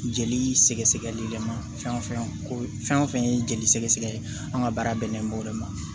Jeli sɛgɛ sɛgɛli yɛlɛma fɛn o fɛn ko fɛn o fɛn ye jeli sɛgɛn ye an ka baara bɛnnen don o de ma